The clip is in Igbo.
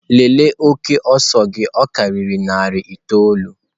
Lelee oke ọsọ gị ọ karịrị narị itoolu!.